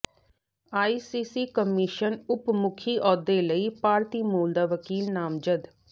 ICC commission ਉਪ ਮੁਖੀ ਅਹੁਦੇ ਲਈ ਭਾਰਤੀ ਮੂਲ ਦਾ ਵਕੀਲ ਨਾਮਜ਼ਦ